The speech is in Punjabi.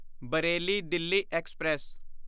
ਬਰੇਲੀ ਦਿਲ੍ਹੀ ਐਕਸਪ੍ਰੈਸ